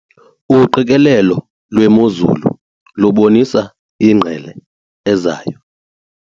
Uqikelelo lwemozulu lubonisa ingqele ezayo.